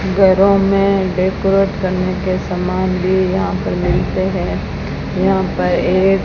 घरों में डेकोरेट करने के सामान भी यहां पर मिलते हैं यहां पर एक --